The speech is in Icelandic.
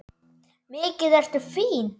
Mikið ertu fín!